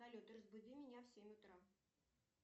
салют разбуди меня в семь утра